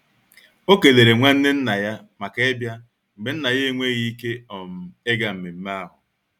O kelere nwanne nna ya maka ịbia mgbe Nna ya enweghị ike um ịga mmemme ahụ.